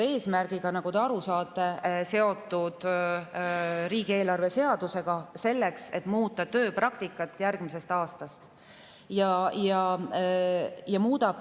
Need muudatused on, nagu te aru saate, seotud riigieelarve seadusega ja on tehtud eesmärgiga muuta järgmisest aastast tööpraktikat.